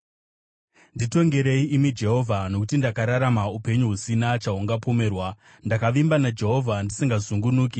Nditongerei, imi Jehovha, nokuti ndakararama upenyu husina chahungapomerwa; ndakavimba naJehovha ndisingazungunuki.